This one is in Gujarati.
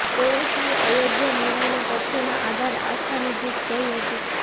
ઓવૈસીએ અયોધ્યા નિર્ણયને તથ્યોના આધારે આસ્થાની જીત કહી હતી